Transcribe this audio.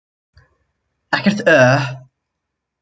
Ekkert uhh.